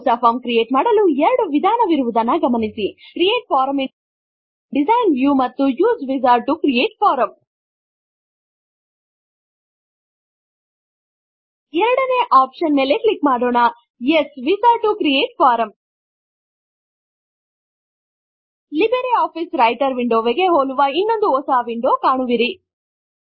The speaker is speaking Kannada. ಹೊಸ ಫಾರಂ ಕ್ರಿಯೇಟ್ ಮಾಡಲು 2 ವಿಧಾನವಿರುವುದನ್ನು ಗಮನಿಸಿ create form in design view ಮತ್ತು use wizard to create form ಎರಡನೇ ಒಪ್ಶನ್ ಮೇಲೆ ಕ್ಲಿಕ್ ಮಾಡೋಣ use wizard to create form LibreOffice writer ವಿಂಡೋವಿಗೆ ಹೋಲುವ ಇನ್ನೊಂದು ಹೊಸ ವಿಂಡೋ ಕಾಣುವಿರಿ